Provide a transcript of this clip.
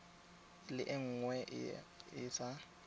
le nngwe e e sa